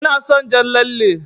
Ina son jan lalle.